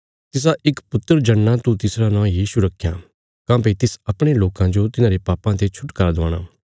तिसा इक पुत्र जणना तू तिसरा नौं यीशु रखयां काँह्भई तिस अपणे लोकां जो तिन्हारे पापां ते छुटकारा दिलाणा